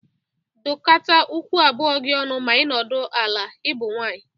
Dokọta ụkwụ abụọ gi ọnụ ma ị nọdụ ala. Ị bụ nwaanyị!